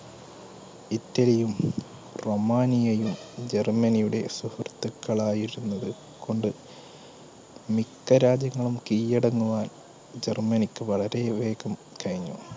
ഇറ്റലിയും, റൊമാനിയയും ജർമ്മനിയുടെ സുഹൃത്തുക്കൾ ആയിരുന്നത് കൊണ്ട് മിക്ക രാജ്യങ്ങളും കീഴടങ്ങുവാൻ ജർമ്മനിക്ക് വളരെ വേഗം കഴിഞ്ഞു.